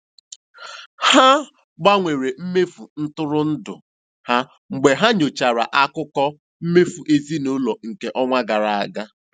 Ha gbanwere mmefu ntụrụndụ ha mgbe ha nyochachara akụkọ mmefu ezinụlọ nke ọnwa gara aga.